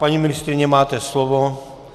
Paní ministryně, máte slovo.